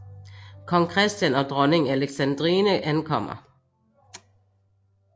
Kong Christian og dronning Alexandrine ankommer